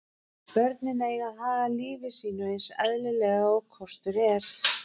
Börnin eiga að haga lífi sínu eins eðlilega og kostur er.